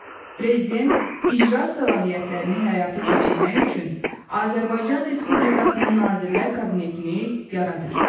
Prezident icra səlahiyyətlərini həyata keçirmək üçün Azərbaycan Respublikasının Nazirlər Kabinetini yaradır.